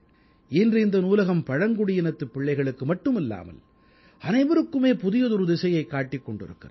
இன்று இந்த நூலகம் பழங்குடியினத்துப் பிள்ளைகளுக்கு மட்டுமல்லாமல் அனைவருக்குமே புதியதொரு திசையைக் காட்டிக் கொண்டிருக்கிறது